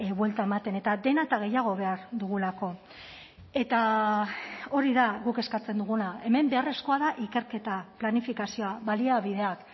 buelta ematen eta dena eta gehiago behar dugulako eta hori da guk eskatzen duguna hemen beharrezkoa da ikerketa planifikazioa baliabideak